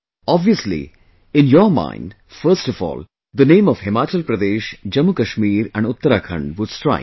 Obviously in your mind first of all the name of Himachal Pradesh, JammuKashmir and Uttarakhand would strike